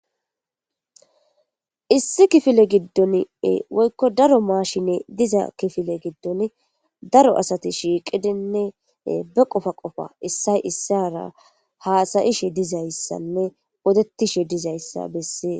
Issi kifile gidoni woyiko daro mashiney diza kifiley daro asati shiqidine baqopa qapa issoy isara hasayishe dizayisa odetishe dizayis be'eses